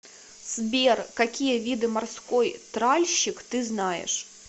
сбер какие виды морской тральщик ты знаешь